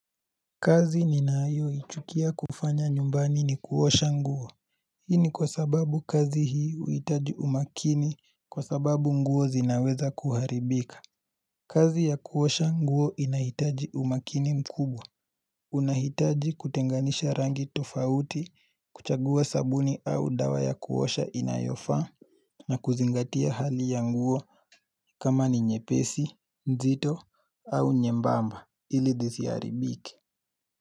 Kazi ninayoichukia kufanya nyumbani ni kuosha nguo Hii ni kwa sababu kazi hii uhitaji umakini kwa sababu nguo zinaweza kuharibika kazi ya kuosha nguo inahitaji umakini mkubwa unahitaji kutenganisha rangi tofauti kuchagua sabuni au dawa ya kuosha inayofaa na kuzingatia hali ya nguo kama ni nyepesi, nzito, au nyembamba ilizisiaribiki.